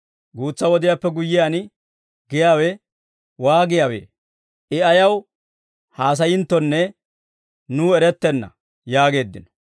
« ‹Guutsa wodiyaappe guyyiyaan› giyaawe waagiyaawee? I ayaw haasayinttonne nuw erettenna» yaageeddino.